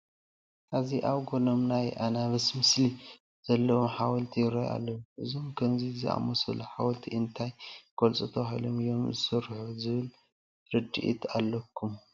ኣብዚ ኣብ ጐኖም ናይ ኣናብስ ምስሊ ዘለዉዎም ሓወልቲ ይርአዩ ኣለዉ፡፡ እዞም ከምዚ ዝኣምሰሉ ሓወልቲ እንታይ ክገልፁ ተባሂሎም እዮም ዝስርሑ ዝብል ርድኢት ኣለኩም?